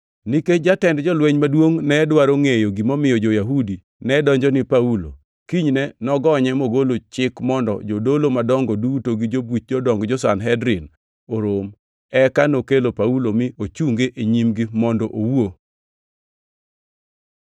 Nikech jatend jolweny maduongʼ ne dwaro ngʼeyo gimomiyo jo-Yahudi nedonjo ni Paulo, kinyne nogonye mogolo chik mondo jodolo madongo duto gi buch jodong jo-Sanhedrin orom. Eka nokelo Paulo mi ochunge e nyimgi mondo owuo.